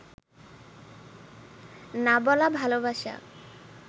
না বলা ভালবাসা